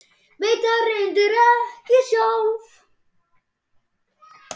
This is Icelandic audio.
Veit það reyndar ekki sjálf.